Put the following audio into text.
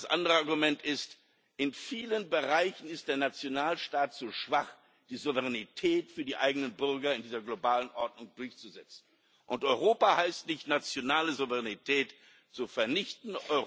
Aber das andere Argument ist In vielen Bereichen ist der Nationalstaat zu schwach, die Souveränität für die eigenen Bürger in dieser globalen Ordnung durchzusetzen. Europa heißt nicht, nationale Souveränität zu vernichten.